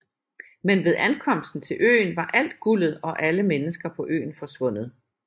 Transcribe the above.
Men ved ankomsten til øen var alt guldet og alle mennesker på øen forsvundet